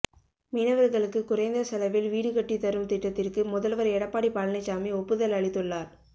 மீனவர்களுக்குக் குறைந்த செலவில் வீடு கட்டித் தரும் திட்டத்திற்கும் முதல்வர் எடப்பாடி பழனிச்சாமி ஒப்புதல் அளித்துள்ளார்